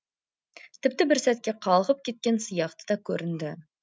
тіпті бір сәтке қалғып кеткен сияқты да көрінді